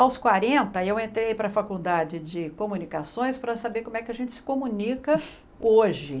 Aos quarenta eu entrei para a faculdade de comunicações para saber como é que a gente se comunica hoje.